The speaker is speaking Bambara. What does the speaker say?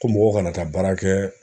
Ko mɔgɔw kana taa baara kɛ